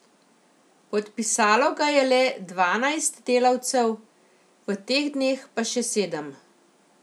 Podpisalo ga je le dvanajst delavcev, v teh dneh pa še sedem.